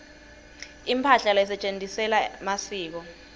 imphahla lesetjentisela masiko